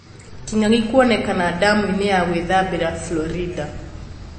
Kĩng'ang'i kuonekana damu-inĩ ya gwĩthambĩra Florida.